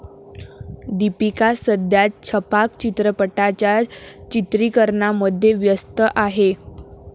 दीपिका सध्या 'छपाक' चित्रपटाच्या चित्रीकरणामध्ये व्यस्त आहे.